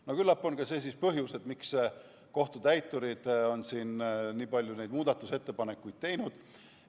No küllap on see ka põhjus, miks kohtutäiturid on siin nii palju neid muudatusettepanekuid teinud.